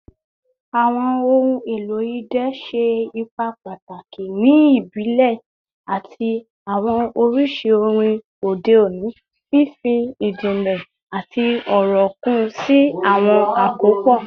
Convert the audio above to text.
Awọn ohun elo idẹ ṣe ipa pataki ni ibile ati awọn oriṣi orin ode oni, fifi ijinle ati ọrọ kun si awọn akopọ